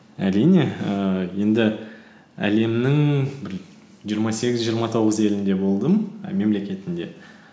әрине ііі енді әлемнің бір жиырма сегіз жиырма тоғыз елінде болдым і мемлекетінде